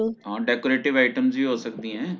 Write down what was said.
ਹਾਂ Decorative items ਵੀ ਹੋ ਸਕਦੀਆਂ ਏ